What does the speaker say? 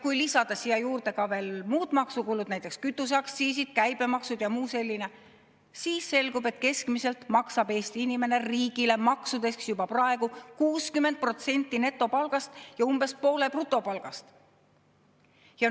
Kui lisada siia juurde veel muud maksukulud, näiteks kütuseaktsiis, käibemaks ja muu selline, siis selgub, et keskmiselt maksab Eesti inimene riigile maksudeks juba praegu 60% netopalgast ja umbes poole brutopalgast.